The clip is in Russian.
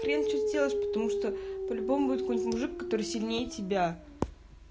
хрен что сделаешь потому что по-любому будет какой-нибудь мужик который сильнее тебя